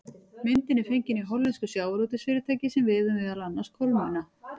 Myndin er fengin hjá hollensku sjávarútvegsfyrirtæki sem veiðir meðal annars kolmunna.